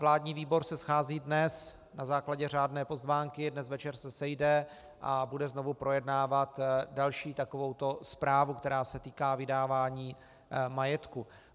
Vládní výbor se schází dnes na základě řádné pozvánky, dnes večer se sejde a bude znovu projednávat další takovouto zprávu, která se týká vydávání majetku.